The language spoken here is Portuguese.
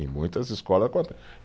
Em muitas escolas